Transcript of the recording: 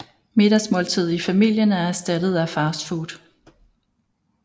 Middagsmåltidet i familien er erstattet af fast food